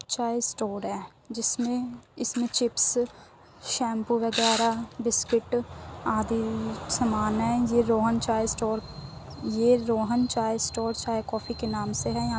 चाय स्टोर है जिसमे इसमे चिप्स शैम्पू वागेरा बिस्कुट आदि समान है| यह Rohan Chai store Rohan Chai store coffee के नाम से है--